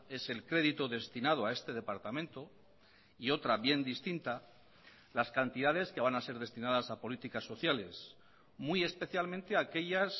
es el crédito destinado a este departamento y otra bien distinta las cantidades que van a ser destinadas a políticas sociales muy especialmente aquellas